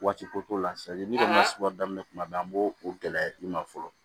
Waati ko la daminɛ tuma bɛɛ an b'o o gɛlɛya i ma fɔlɔ